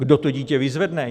Kdo to dítě vyzvedne?